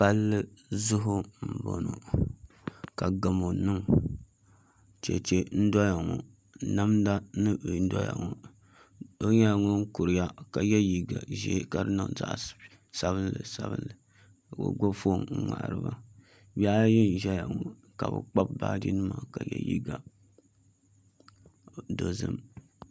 Palli zuɣu n boŋo ka gamo niŋ chɛchɛ n doya ŋo namda n doya ŋo doo nyɛla ŋun kuriya ka yɛ liiga ʒiɛ ka di niŋ zaɣ sabinli sabinli ka o gbubi foon n ŋmahariba bihi ayi n ʒɛya ŋo ka bi kpabi baaji nima ka yɛ liiga dozim